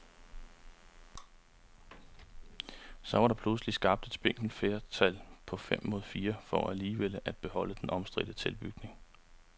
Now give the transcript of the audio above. Så var der pludselig skabt et spinkelt flertal på fem mod fire for alligevel at beholde den omstridte tilbygning.